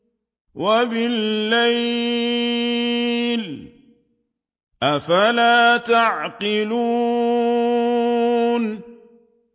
وَبِاللَّيْلِ ۗ أَفَلَا تَعْقِلُونَ